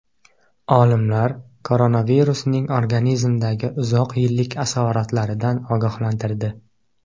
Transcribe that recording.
Olimlar koronavirusning organizmdagi uzoq yillik asoratlaridan ogohlantirdi.